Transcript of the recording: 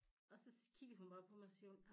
Og så kigger hun bare på mig så siger hun